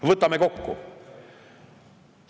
Võtame kokku.